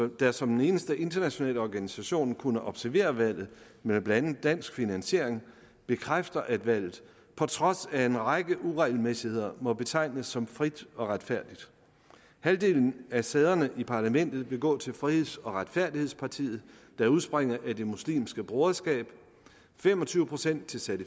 der som den eneste internationale organisation kunne observere valget med blandt andet dansk finansiering bekræfter at valget på trods af en række uregelmæssigheder må betegnes som frit og retfærdigt halvdelen af sæderne i parlamentet vil gå til friheds og retfærdighedspartiet der udspringer af det muslimske broderskab fem og tyve procent til til